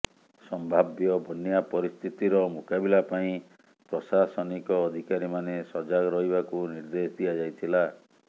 ସମ୍ଭାବ୍ୟ ବନ୍ୟା ପରିସ୍ଥିତିର ମୁକାବିଲା ପାଇଁ ପ୍ରଶାସନିକ ଅଧିକାରୀମାନେ ସଜାଗ ରହିବାକୁ ନିର୍ଦ୍ଦେଶ ଦିଆଯାଇଥିଲା